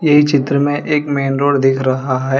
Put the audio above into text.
ये चित्र में एक मेन रोड दिख रहा है।